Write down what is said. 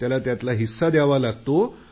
त्याला हिस्सा द्यावा लागतो